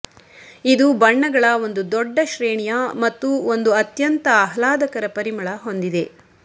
ಇದು ಬಣ್ಣಗಳ ಒಂದು ದೊಡ್ಡ ಶ್ರೇಣಿಯ ಮತ್ತು ಒಂದು ಅತ್ಯಂತ ಆಹ್ಲಾದಕರ ಪರಿಮಳ ಹೊಂದಿದೆ